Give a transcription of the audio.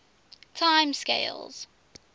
time scales